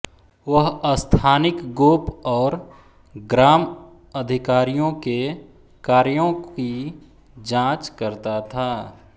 वह स्थानिक गोप और ग्राम अधिकारियों के कार्यो की जाँच करता था